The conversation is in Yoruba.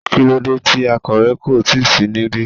kílódé ti akòwé kò tíì sí níbí